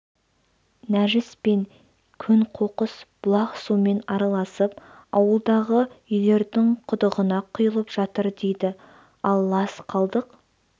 нәжіс пен көң-қоқыс бұлақ суымен араласып ауылдағы үйлердің құдығына құйылып жатыр дейді ал лас қалдық